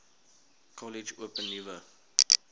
kollege open nuwe